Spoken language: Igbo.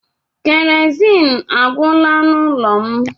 Kerosiin agwụla n'ụlọ m.